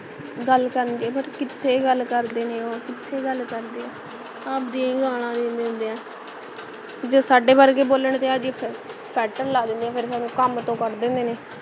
ਗੱਲ ਕਰਦੇ ਨੇ ਪਰ ਕਿਥੇ ਗੱਲ ਕਰਦੇ ਨੇ ਉਹ ਕਿਥੇ ਗੱਲ ਕਰਦੇ ਹੈ ਗਾਲਾਂ ਦੇ ਦਿੰਦੇ ਹੈ ਜੇ ਸਾਡੇ ਵਰਗੇ ਬੋਲਣ ਤੇ ਆਜੇ ਫੇਰ set ਲੈ ਦੇਣੇ ਨੇ ਫੇਰ ਪਾਵੇਂ ਕੱਮ ਤੂੰ ਕਢ ਦੇਣ